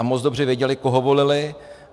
A moc dobře věděli, koho volili.